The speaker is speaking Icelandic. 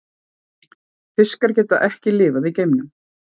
Fiskar geta ekki lifað í geimnum.